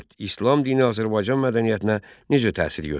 İslam dini Azərbaycan mədəniyyətinə necə təsir göstərdi?